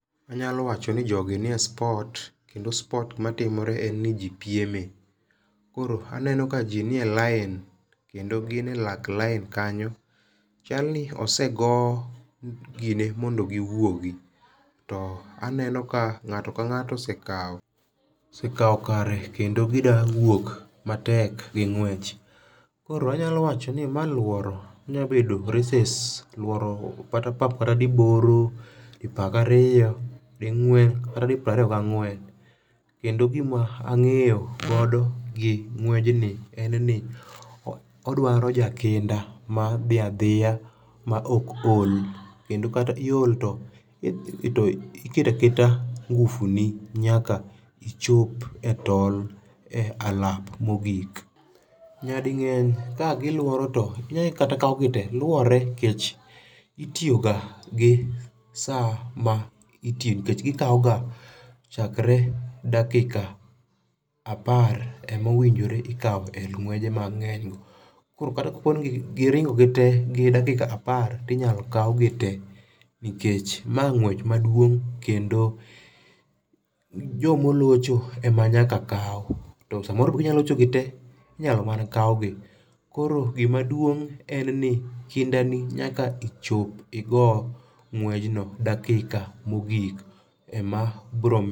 Anyalo wacho ni jogi ni e sport, kendo sport ,matimore en ni ji pieme. Koro aneno ka ji nie line. Lendo gine lak line kanyo. Chalni osego gine mondo giwuogi. To aneno ka ngáto ka ngáto osekawo, osekawo kare, kendo gidwa wuok matek gi ng'wech. Koro anyalo wachoni, ma lworo, onya bedo races lworo kata pap kata diboro, dipar gi ariyo, di ngwen, kata di piero ariyo gi ang'wen. Kendo gima angéyo godo gi ng'wejni en ni odwaro jakinda ma dhi adhiya ma ok ol. Kendo kata iol to to iketaketa nguvu ni nyaka ichop e tol e [alap mogik. Nyadingény ka giluoro to inyalo kata kau gi te. Luore, nikech itiyoga gi saa ma nikech gikaoga chakre dakika apar ema owinjore ikawo e ng'weje ma ngénygo. Koro kata ka poni giringo gite gi dakika apar to inyalo kaugi te. Nikech ma ng'wech maduong' kendo joma olocho ema nyaka kau. To samoro be ginya locho gite, tinyalo mana kaugi. Koro gima duong' en ni kindani nyaka ichop igo ng'wejno e dakika mogik. Ema biro